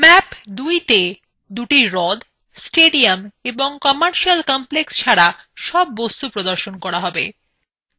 map ২ তে দুটি হ্রদ stadium ও commercial complex ছাড়া সব বস্তু প্রদর্শন করা যাক